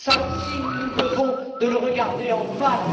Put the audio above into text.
Cela aussi, nous nous devons de le regarder en face.